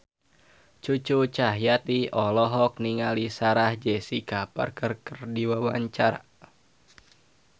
Cucu Cahyati olohok ningali Sarah Jessica Parker keur diwawancara